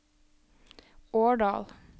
Årdal